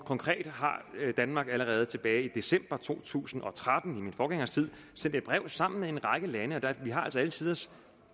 konkret har danmark allerede tilbage i december to tusind og tretten i min forgængers tid sendt et brev sammen med en række lande og vi har altså alle tiders